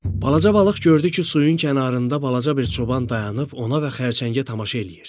Balaca balıq gördü ki, suyun kənarında balaca bir çoban dayanıb ona və xərçəngə tamaşa eləyir.